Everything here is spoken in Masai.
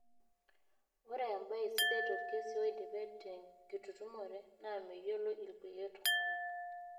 Ore embae sidai olkesi oidipe tenkitutumore naa meyioloi ilkulie tungana.